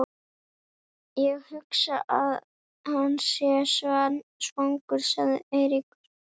Ég hugsa að hann sé svangur sagði Eiríkur.